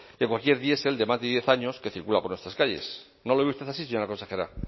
que cualquier diesel de más de diez años que circula por nuestras calles no lo ve usted así señora consejera